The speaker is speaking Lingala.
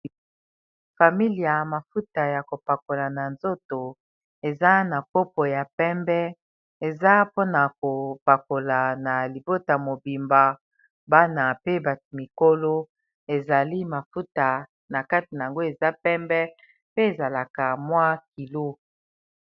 familia eza mafuta ya kopakola na nzoto eza na kopo ya pembe eza mpona kopakola na libota mobimba bana pe bato mikolo ezali mafuta na kate na yango eza pembe pe ezalaka mwa kilo